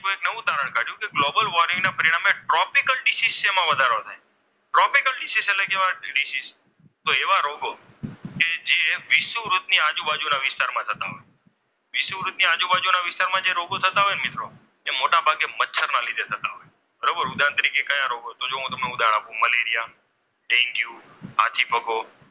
વિષુવવૃત ની આજુબાજુના વિસ્તારોમાં થતા હોય, વિષુવવૃત ની આજુબાજુના વિસ્તારોમાં થતા હોય વિષુવવૃતની આજુબાજુના વિસ્તારમાં જે રોગ થતા હોય મિત્રો તે મોટાભાગે મચ્છરના લીધે થતા હોય બરાબર ઉદાહરણ તરીકે કયા રોગ તો જો હું તમને ઉદાહરણ આપું. Malaria, dengue, હાથીપગો,